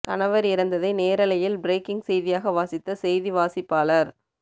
கணவர் இறந்ததை நேரலையில் பிரேக்கிங் செய்தியாக வாசித்த செய்தி வாசிப்பாளர்